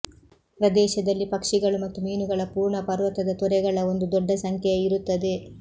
ಪ್ರದೇಶದಲ್ಲಿ ಪಕ್ಷಿಗಳು ಮತ್ತು ಮೀನುಗಳ ಪೂರ್ಣ ಪರ್ವತದ ತೊರೆಗಳ ಒಂದು ದೊಡ್ಡ ಸಂಖ್ಯೆಯ ಇರುತ್ತದೆ